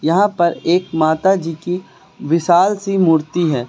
यहां पर एक माताजी की विशाल सी मूर्ति है।